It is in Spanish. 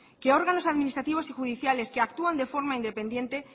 que órganos administrativos y judiciales que actúan de forma independiente